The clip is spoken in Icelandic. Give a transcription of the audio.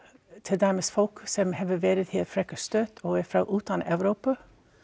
til dæmis fólk sem hefur verið hér frekar stutt og er frá utan Evrópu